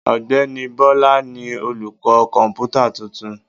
Ọ̀gbẹ́ni Bọ́lá ni olùkọ́ kọ̀ǹpútà tuntun.